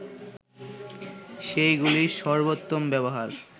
সেগুলির সর্বোত্তম ব্যবহার